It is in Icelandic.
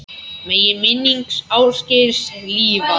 Megi minning Ásgeirs lifa.